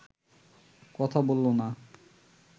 কথা বলল না